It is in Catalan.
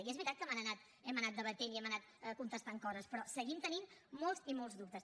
i és veritat que hem anant debatent i hem anat contestant coses però seguim tenint molts i molts dubtes